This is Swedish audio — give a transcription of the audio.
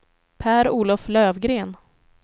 Per-Olof Löfgren